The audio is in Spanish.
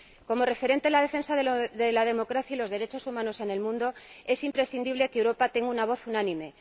Como referente en la defensa de la democracia y los derechos humanos en el mundo, es imprescindible que Europa tenga una voz unánime